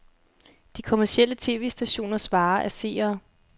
De kommercielle tv-stationers vare er seere.